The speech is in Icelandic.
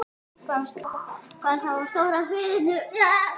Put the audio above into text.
Hvað þá á stóra sviðinu?